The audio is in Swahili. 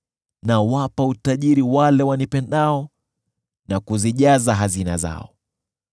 nawapa utajiri wale wanipendao na kuzijaza hazina zao.